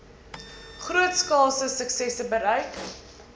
grootskaalse suksesse bereik